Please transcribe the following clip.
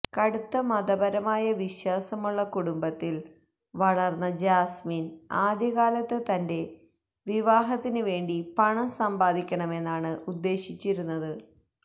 കടുത്ത മതപരമായ വിശ്വാസമുള്ള കുടുംബത്തില് വളര്ന്ന ജാസ്മിന് ആദ്യകാലത്ത് തന്റെ വിവാഹത്തിന് വേണ്ടി പണം സമ്പാദിക്കണമെന്നാണ് ഉദ്ദേശിച്ചിരുന്നത്